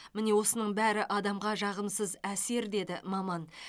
міне осының бәрі адамға жағымсыз әсер деді маман